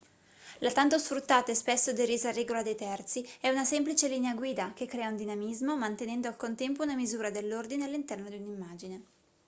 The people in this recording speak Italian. la tanto sfruttata e spesso derisa regola dei terzi è una semplice linea guida che crea dinamismo mantenendo al contempo una misura dell'ordine all'interno di un'immagine